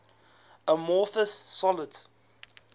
amorphous solids